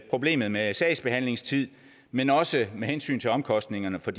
problemet med sagsbehandlingstider men også med hensyn til omkostningerne for